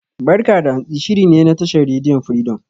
"Barka da Hantsi" shiri ne na tashar rediyon Firidom.